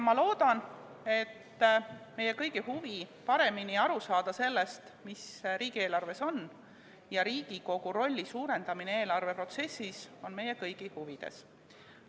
Ma loodan, et meie kõigi huvi on paremini aru saada sellest, mis riigieelarves on, ja Riigikogu rolli suurendamine eelarveprotsessis on meie kõigi huvides.